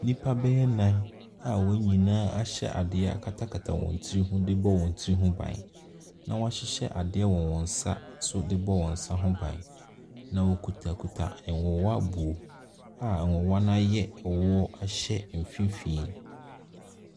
Nnipa bɛyɛ nnan a wɔn nyinaa ahyɛ adeɛ akatakata wɔn tiri ho de rebɔ wɔn tiri ho ban, na wɔahyehyɛ adeɛ wɔ wɔn nsa nso de bɔ wɔn nsa ho bɔn, na wɔkutakuta nwowa bu a nwowa no ayɛ woɔ ahyɛ mfimfini.